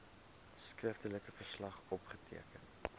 skriftelike verslag opgeteken